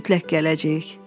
Mütləq gələcəyik.